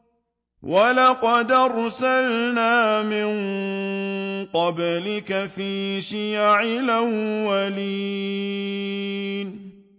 وَلَقَدْ أَرْسَلْنَا مِن قَبْلِكَ فِي شِيَعِ الْأَوَّلِينَ